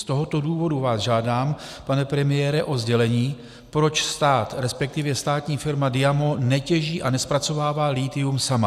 Z tohoto důvodu vás žádám, pane premiére, o sdělení, proč stát, respektive státní firma DIAMO netěží a nezpracovává lithium sama.